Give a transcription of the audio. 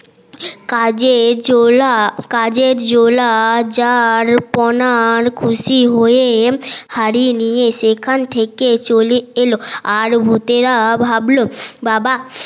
কাজে জোলা কাজে জোলা খুশি হয়ে হাড়ি নিয়ে সেখান থেকে চলে এলো আর ভূতেরা ভাবল বাবা